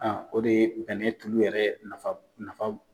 Aa o de ye bɛnɛn tulu yɛrɛ nafa